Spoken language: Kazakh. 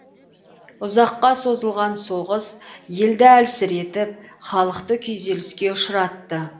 ұзаққа созылған соғыс елді әлсіретіп халықты күйзеліске ұшыратты